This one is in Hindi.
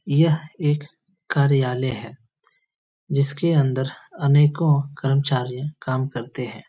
यह एक कार्यालय है जिसके अंदर अनेको करमचार्ये काम करते है।